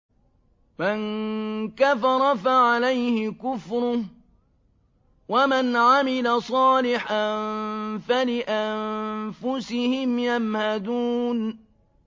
مَن كَفَرَ فَعَلَيْهِ كُفْرُهُ ۖ وَمَنْ عَمِلَ صَالِحًا فَلِأَنفُسِهِمْ يَمْهَدُونَ